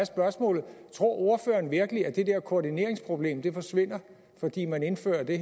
tror ordføreren virkelig at det der koordineringsproblem forsvinder fordi man indfører det